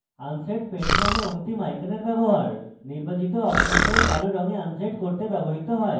unset paint নামক অন্তিম আইকনের ব্যবহার নির্বাচিত অবজেক্টের কালো রঙে unset করতে ব্যবহৃত হয়